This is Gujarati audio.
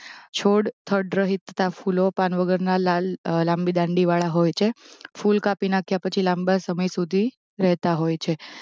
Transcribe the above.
છોડ થડ રહિતના ફૂલો પાન વગરના લાલ લાંબી દાંડીવાળા હોય છે. ફૂલ કાપી નાખ્યા પછી લાંબા સમય સુધી રહેતાં હોય છે